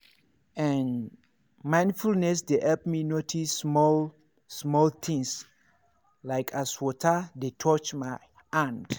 ehn mindfulness dey help me notice small-small things like as water dey touch my hand.